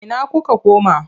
Ina kuka koma?